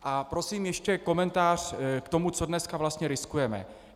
A prosím, ještě komentář k tomu, co dneska vlastně riskujeme.